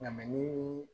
Nka ni